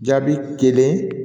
Jaabi kelen